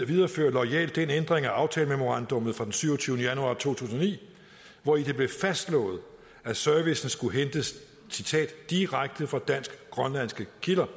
viderefører loyalt den ændring af aftalememorandummet fra den syvogtyvende januar to tusind og ni hvori det blev fastslået at servicen skulle hentes citat direkte fra dansk grønlandske kilder